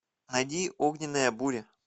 найди огненная буря